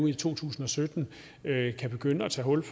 i to tusind og sytten kan begynde at tage hul